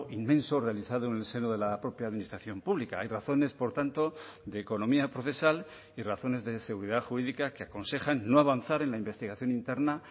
inmenso realizado en el seno de la propia administración pública hay razones por tanto de economía procesal y razones de seguridad jurídica que aconsejan no avanzar en la investigación interna